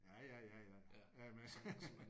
Ja ja ja ja ja men